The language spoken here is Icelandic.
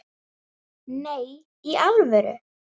Nei, í alvöru?